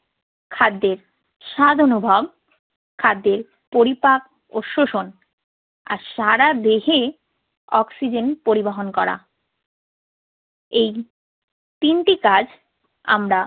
খাদ্যের স্বাদ অনুভব, খাদ্যের পরিপাক ও শোষণ আর সারা দেহে অক্সিজেন পরিবহন করা। এই তিনটি কাজ আমরা